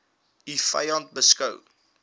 u vyand beskou